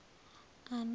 ana